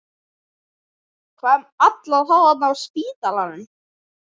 Hvað um alla þá þarna á spítalanum?